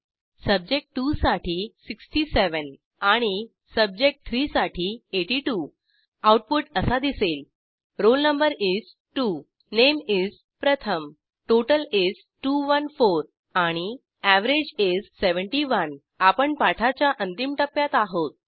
सब्जेक्ट2 साठी 67 आणि सब्जेक्ट3 साठी 82 आऊटपुट असा दिसेल160 roll no is 2 name is प्रथम टोटल is 214 आणि एव्हरेज is 71 आपण पाठाच्या अंतिम टप्प्यात आहोत